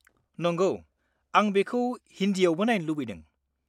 -नंगौ, आं बेखौ हिन्दीयावबो नायनो लुबैदों।